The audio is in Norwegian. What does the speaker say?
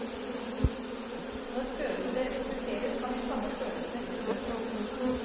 Når følelser fokuseres, kan de samme følelsene utløses.